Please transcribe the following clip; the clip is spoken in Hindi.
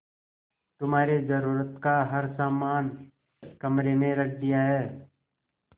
तुम्हारे जरूरत का हर समान कमरे में रख दिया है